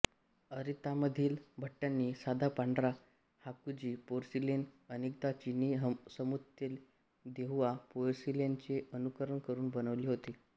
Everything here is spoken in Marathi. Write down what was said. अरितामधील भट्ट्यांनी साधा पांढरा हाकुजी पोर्सिलेन अनेकदा चीनी समतुल्य देहुआ पोर्सिलेनचे अनुकरण करून बनवले होते